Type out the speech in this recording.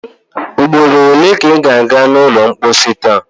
Ugboro ole ka ị ga a ga n’ụlọ mposi taa?